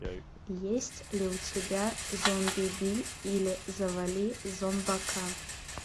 есть ли у тебя зомбиби или завали зомбака